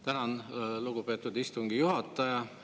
Tänan, lugupeetud istungi juhataja!